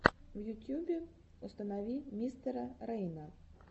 в ютьюбе установи мистера рейна